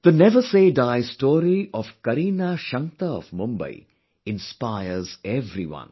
The never say die story of Kareena Shankta of Mumbai inspires everyone